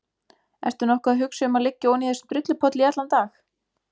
Ertu nokkuð að hugsa um að liggja oní þessum drullupolli í allan dag?